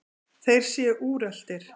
Þeir séu úreltir.